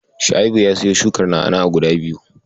Shua'ibu ya siyo shukar na'a-na'a guda biyu.